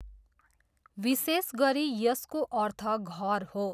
विशेष गरी यसको अर्थ घर हो।